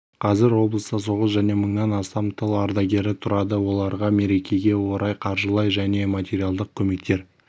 қазір облыста соғыс және мыңнан астам тыл ардагері тұрады оларға мерекеге орай қаржылай және материалдық көмектер